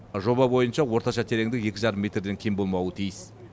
жоба бойынша орташа тереңдік екі жарым метрден кем болмауы тиіс